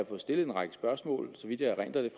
fået stillet en række spørgsmål